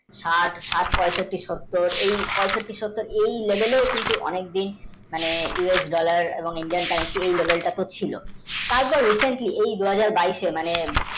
ষাঠ আট পইসট্টি সত্তর এই level ও অনেক দিন US dollar ও Indian, currency ছিল আর যা missing টুকু দু হাজার বাইশে